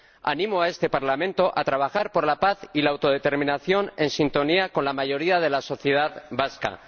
Animo a este Parlamento a trabajar por la paz y la autodeterminación en sintonía con la mayoría de la sociedad vasca.